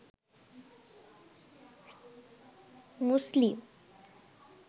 muslim